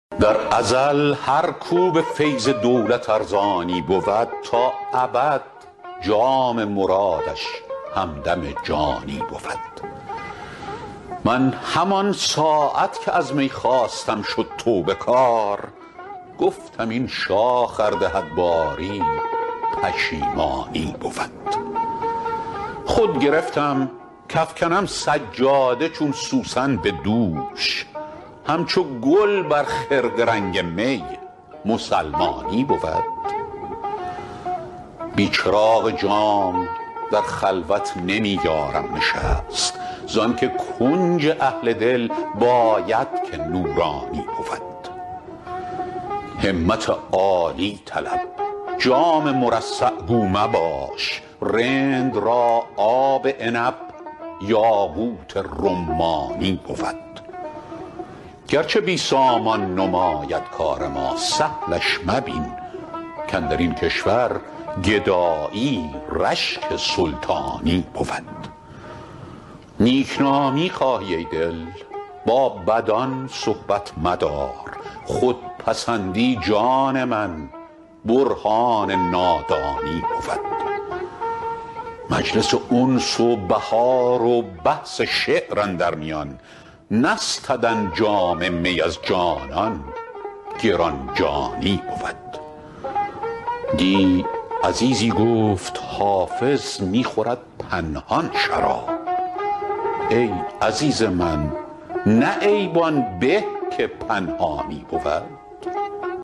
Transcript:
در ازل هر کو به فیض دولت ارزانی بود تا ابد جام مرادش همدم جانی بود من همان ساعت که از می خواستم شد توبه کار گفتم این شاخ ار دهد باری پشیمانی بود خود گرفتم کافکنم سجاده چون سوسن به دوش همچو گل بر خرقه رنگ می مسلمانی بود بی چراغ جام در خلوت نمی یارم نشست زان که کنج اهل دل باید که نورانی بود همت عالی طلب جام مرصع گو مباش رند را آب عنب یاقوت رمانی بود گرچه بی سامان نماید کار ما سهلش مبین کاندر این کشور گدایی رشک سلطانی بود نیک نامی خواهی ای دل با بدان صحبت مدار خودپسندی جان من برهان نادانی بود مجلس انس و بهار و بحث شعر اندر میان نستدن جام می از جانان گران جانی بود دی عزیزی گفت حافظ می خورد پنهان شراب ای عزیز من نه عیب آن به که پنهانی بود